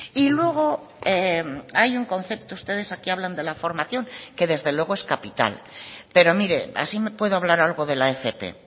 y luego hay un concepto ustedes aquí hablan de la formación que desde luego es capital pero mire así puedo hablar algo de la fp